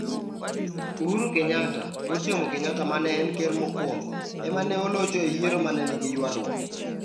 Uhuru Kenyatta (wuod Jomo Kenyatta ma ne en ker mokwongo) ema ne olocho e yiero ma ne nigi ywaruok.